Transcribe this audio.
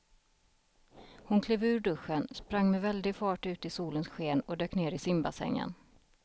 Hon klev ur duschen, sprang med väldig fart ut i solens sken och dök ner i simbassängen.